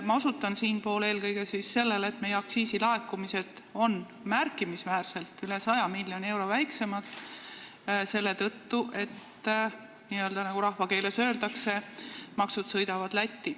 Ma osutan siinkohal eelkõige sellele, et meie aktsiisilaekumised on märkimisväärselt väiksemad, üle 100 miljoni euro, selle tõttu, et, nagu rahvakeeles öeldakse, maksud sõidavad Lätti.